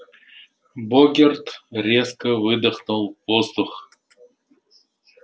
богерт резко выдохнул воздух